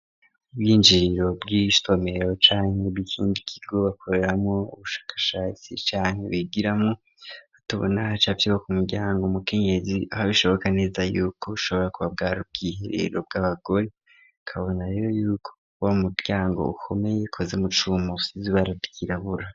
Ubwinjiriro bw'isomero canke bw'ikindi kigo bakoreramwo ubushakashatsi canke bigiramwo, tubona hacafyeko ku muryango umukenyezi aho bishoboka neza yuko ushobora kuba bwari ubwiherero bw'abagore, tukabona rero yuko uwo muryango ukomeye ukoze mu cuma usize ibara ryirabura.